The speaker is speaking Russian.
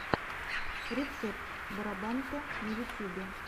рецепт бороданте на ютюбе